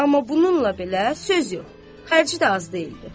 Amma bununla belə söz yox, xərci də az deyildi.